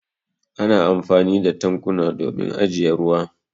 Ana amfani da tankuna domin ajiye ruwa.